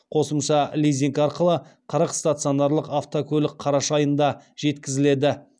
қосымша лизинг арқылы қырық стационарлық автокөлік қараша айында жеткізіледі